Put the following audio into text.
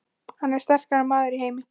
Hann er sterkasti maður í heimi!